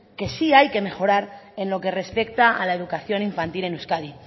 que sí hay que mejorar en lo que respecta a la educación infantil en euskadi